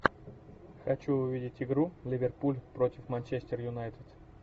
хочу увидеть игру ливерпуль против манчестер юнайтед